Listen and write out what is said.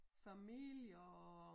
Familie og